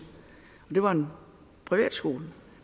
det var en privatskole